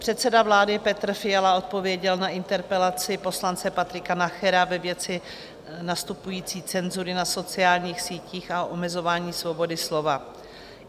Předseda vlády Petr Fiala odpověděl na interpelaci poslance Patrika Nachera ve věci nastupující cenzury na sociálních sítích a omezování svobody slova.